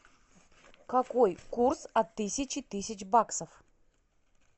какой курс от тысячи тысяч баксов